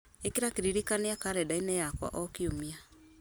ĩkĩra kĩririkania karenda-inĩ yakwa o kiumia